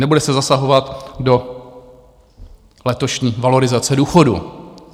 Nebude se zasahovat do letošní valorizace důchodů.